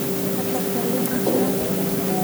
Hada Korya majiraan.